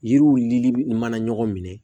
Yiriw lili mana ɲɔgɔn minɛ